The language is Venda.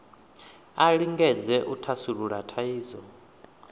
a lingedze u thasulula thaidzo